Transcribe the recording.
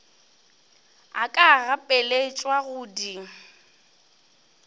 a ka gapeletšwago go di